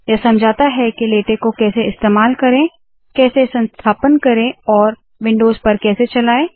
यह समझाता है के लेटेक को कैसे इस्तेमाल करे कैसे संस्थापन करे और विन्डोज़ पर कैसे चलाए